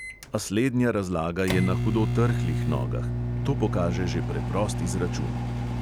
A slednja razlaga je na hudo trhlih nogah – to pokaže že preprost izračun.